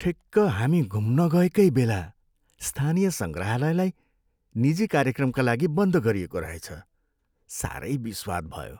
ठिक्क हामी घुम्न गएकै बेला स्थानीय सङ्ग्रहालयलाई निजी कार्यक्रमका लागि बन्द गरिएको रहेछ। साह्रै बिस्वाद भयो!